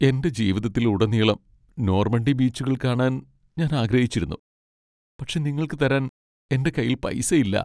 എന്റെ ജീവിതത്തിലുടനീളം നോർമണ്ടി ബീച്ചുകൾ കാണാൻ ഞാൻ ആഗ്രഹിച്ചിരുന്നു, പക്ഷേ നിങ്ങൾക്ക് തരാൻ എന്റെ കൈയിൽ പൈസ ഇല്ലാ.